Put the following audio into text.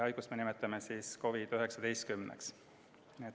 Haiguse nimi on COVID-19.